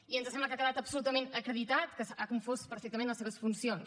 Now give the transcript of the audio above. i ens sembla que ha quedat absolutament acreditat que ha confós perfectament les seves funcions